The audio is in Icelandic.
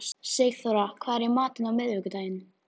Sigþóra, hvað er í matinn á miðvikudaginn?